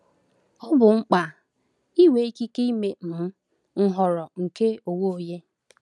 Ọ bụ mkpa ịnwe ikike ime um nhọrọ nke onwe onye.